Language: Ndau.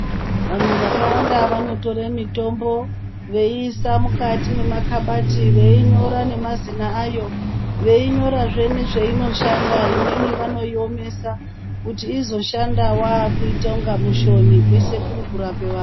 Vanhu vakawanda vanotore mitombo veiisa mukati mwemakhabati veinyora nemazina ayo veinyorazve nezveinoshanda. Imweni vanoiomesa kuti izoshanda wakuita unga mushoni kweshe kuri kurape vantu.